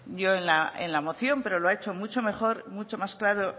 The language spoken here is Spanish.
yo en la moción pero lo ha hecho mucho mejor mucho más claro